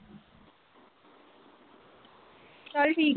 ਚਲ ਠੀਕ।